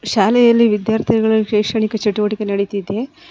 ಶಾಲೆಯಲ್ಲಿ ವಿದ್ಯಾರ್ಥಿಗಳ ಶೈಕ್ಷಣಿಕ ಚಟುವಟಿಕೆ ನಡಿತಿದೆ.